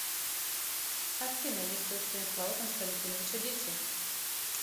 афина есть ли у станислава константиновича дети